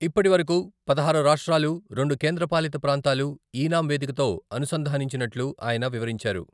ఇప్పటివరకు పదహారు రాష్ట్రాలు, రెండు కేంద్ర పాలిత ప్రాంతాలు, ఈ నామ్ వేదికతో అనుసంధానించినట్లు ఆయన వివరించారు.